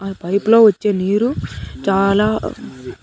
అల్లా pipe లో వచ్చే నీరు చాలా.